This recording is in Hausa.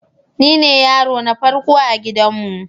Nine yaro na farko a gidanmu.